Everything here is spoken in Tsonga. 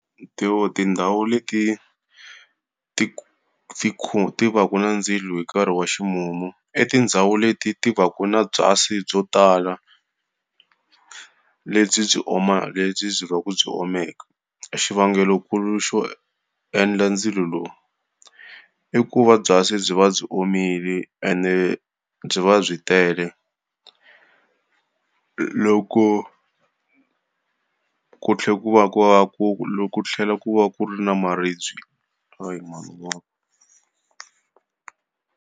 Tindhawu leti ti ti ti vaka na ndzilo hi nkarhi wa ximumu, i tindhawu leti ti vaka na byasi byo tala, lebyi byi lebyi byi byi omeke. Xivangelonkulu xo endla ndzilo lowu, i ku va byasi byi va byi omile ene byi va byi tele. Loko ku tlhela ku va ku va ku loko ku tlhela ku va ku ri na maribye .